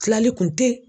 Tilali kun tɛ